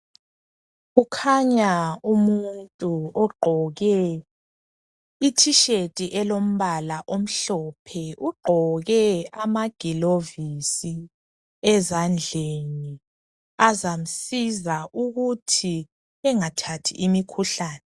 Kukhanya umuntu ogqoke ithisheti elombala omhlophe, ugqoke amagilovisi ezandleni azamsiza ukuthi engathathi imikhuhlani.